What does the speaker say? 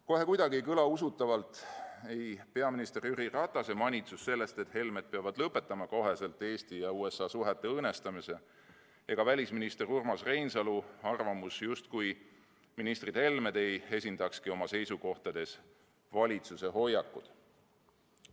Kohe kuidagi ei kõla usutavalt ei peaminister Jüri Ratase manitsus, et Helmed peavad kohe lõpetama Eesti ja USA suhete õõnestamise, ega välisminister Urmas Reinsalu arvamus, justkui ministrid Helmed ei esindakski oma seisukohtades valitsuse hoiakut.